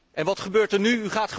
En wat gebeurt er nu?